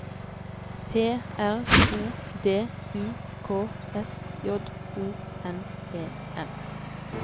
P R O D U K S J O N E N